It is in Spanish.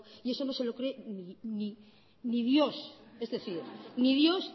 y eso no se lo cree ni dios es decir ni dios